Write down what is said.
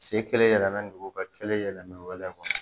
Se kelen yɛlɛmana nuguya kelen bɛ wɛlɛw kan